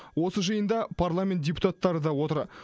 осы жиында парламент депутаттары да отыр